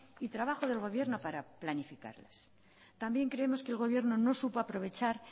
y trabajo del gobierno para planificarlas también creemos que el gobierno no supo aprovechar